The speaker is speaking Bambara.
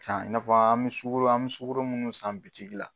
San, i na fɔ an bɛ sukaro an bɛ sukaro munnu san bitiki la.